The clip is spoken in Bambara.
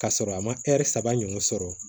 K'a sɔrɔ a ma saba ɲɔgɔn sɔrɔ